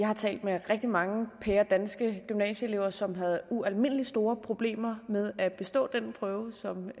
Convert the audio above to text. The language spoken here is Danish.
har talt med rigtig mange pæredanske gymnasieelever som havde ualmindelig store problemer med at bestå den prøve som